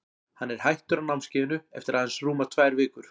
Hann er hættur á námskeiðinu eftir að aðeins rúmar tvær vikur.